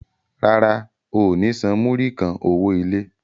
Rárá, o ò ní san múrí kan owó ilé.